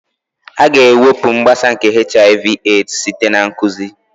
A ga-ewepụ mgbasa nke HIV/AIDS site na nkụzi